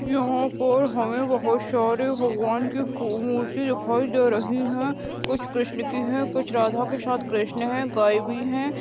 यहाँ पर हमें बहुत सारी भगवान की फ़ो मूर्ति दिखाई दे रही है कुछ कृष्ण की है कुछ कुछ राधा के साथ कृष्ण है गाय भी है।